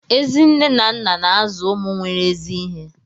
Ezi nna na nne na-azụ ụmụ nwere ezi ihe